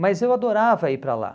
Mas eu adorava ir para lá.